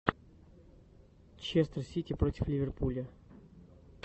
честер сити против ливерпуля